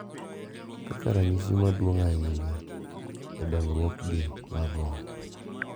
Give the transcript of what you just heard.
Kaka ranyisi maduong’ ahinya e dongruokgi mar roho.